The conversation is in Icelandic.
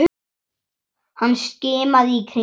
Hann skimaði í kringum sig.